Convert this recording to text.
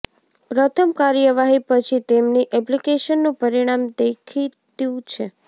પ્રથમ કાર્યવાહી પછી તેમની એપ્લિકેશનનું પરિણામ દેખીતું છે